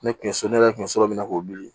Ne tun ye so ne yɛrɛ tun bɛ so min na k'o wuli